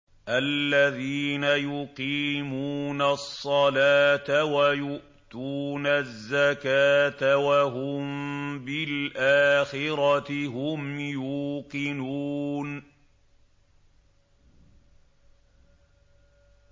الَّذِينَ يُقِيمُونَ الصَّلَاةَ وَيُؤْتُونَ الزَّكَاةَ وَهُم بِالْآخِرَةِ هُمْ يُوقِنُونَ